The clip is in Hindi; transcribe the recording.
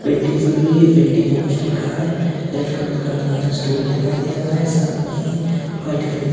पेंटिंग्स लगी है पेंटिंग में कुछ लिखा है रेड कलर का हमें यहां स्टूल दिखाई दे रहा है साथ में ही व्हाइट कलर --